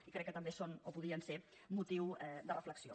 i crec que també són o podrien ser motiu de reflexió